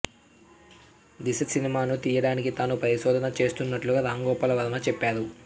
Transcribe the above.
దిశ సినిమాను తీయడానికి తాను పరిశోధన చేస్తున్నట్లు రాంగోపాల్ వర్మ చెప్పారు